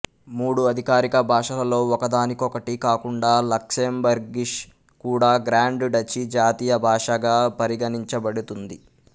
మూడు అధికారిక భాషలలో ఒకదానికొకటి కాకుండా లక్సెంబర్గిషు కూడా గ్రాండ్ డచీ జాతీయ భాషగా పరిగణించబడుతుంది